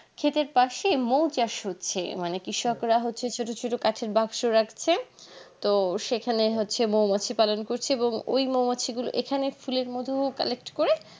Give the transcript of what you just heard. ক্ষেতের পশে মৌ চাষ হচ্ছে মানে কৃষকরা হচ্ছে ছোটো ছোটো কাঠের বাস্ক রাখছে তো সেখানে হচ্ছে মৌ বাচ্চা পালন করছে ওই মৌমাছি গুলো এখানে ফুলের মধু collect করে